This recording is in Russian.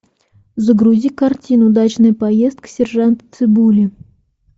загрузи картину дачная поездка сержанта цыбули